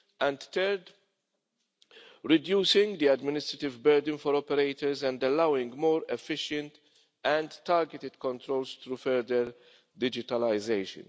and, thirdly, at reducing the administrative burden for operators and allowing more efficient and targeted controls through further digitalisation.